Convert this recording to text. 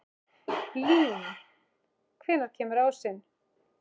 Blín, hvenær kemur ásinn?